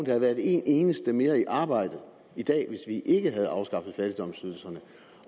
havde været en eneste mere i arbejde i dag hvis vi ikke havde afskaffet fattigdomsydelserne